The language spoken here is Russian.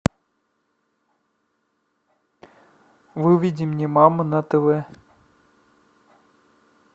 выведи мне мама на тв